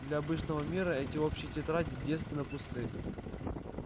для обычного мира эти общие тетради девственно пусты